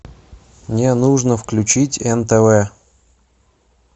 мне нужно включить нтв